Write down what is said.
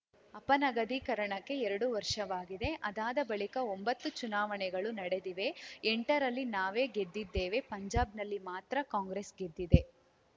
ಅಪನಗದೀಕರಣಕ್ಕೆ ಎರಡು ವರ್ಷವಾಗಿದೆ ಅದಾದ ಬಳಿಕ ಒಂಬತ್ತು ಚುನಾವಣೆಗಳು ನಡೆದಿವೆ ಎಂಟರಲ್ಲಿ ನಾವೇ ಗೆದ್ದಿದ್ದೇವೆ ಪಂಜಾಬ್‌ನಲ್ಲಿ ಮಾತ್ರ ಕಾಂಗ್ರೆಸ್‌ ಗೆದ್ದಿದೆ